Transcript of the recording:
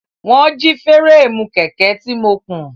Wọ́n jí fúréèmù kẹ̀kẹ́ tí mo kùn.